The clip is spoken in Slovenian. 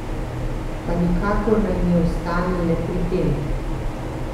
Pa nikakor naj ne ostane le pri tem.